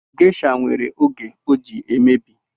Geisha nwere oge o ji emebi